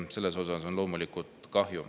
Sellest on loomulikult kahju.